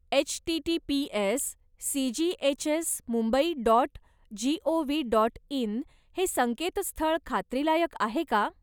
H T T P S C G H S Mumbai dot G O V dot in हे संकेतस्थळ खात्रीलायक आहे का?